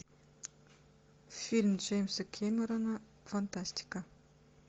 фильм джеймса кэмерона фантастика